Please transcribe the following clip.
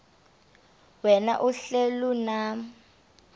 wena uhlel unam